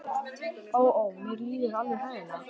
Ó, ó, mér líður alveg hræðilega.